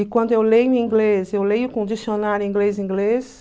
E quando eu leio em inglês, eu leio com dicionário inglês, inglês.